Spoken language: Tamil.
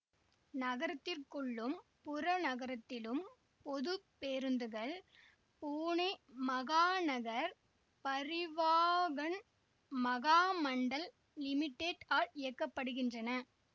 நகரத்திற்குள்ளும் புறநகரத்திலும் பொது பேருந்துகள் பூனே மஹாநகர் பரிவாஹன் மஹாமண்டல் லிமிடெட்ட் ஆல் இயக்க படுகின்றன